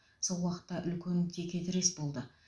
сол уақытта үлкен текетірес болды